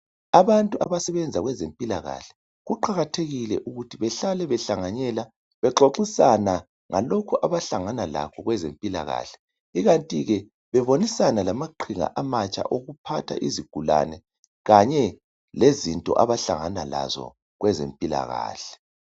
Abantu abasebenza kwezempilakahle kuqakathekile ukuthi bahlale behlanganyela bexoxisana, ngalokho abahlangana lakho kwezempilakahle. Ikanti ke bebonisana lamaqhinga amatsha okuphatha izigulane kanye lezinto abahlangana lazo kwezempilakahle.